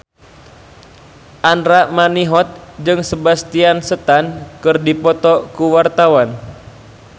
Andra Manihot jeung Sebastian Stan keur dipoto ku wartawan